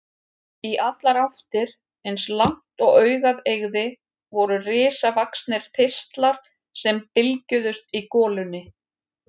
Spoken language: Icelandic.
Í allar áttir, eins langt og augað eygði, voru risavaxnir þistlar sem bylgjuðust í golunni.